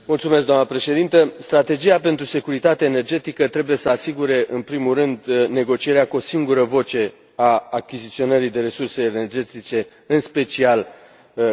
Strategia pentru securitate energetică trebuie să asigure în primul rând negocierea cu o singură voce a achiziționării de resurse energetice, în special gazul din Rusia.